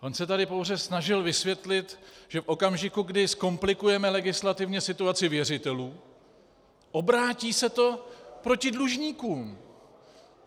On se tady pouze snažil vysvětlit, že v okamžiku, kdy zkomplikujeme legislativně situaci věřitelů, obrátí se to proti dlužníkům.